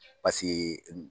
Pasike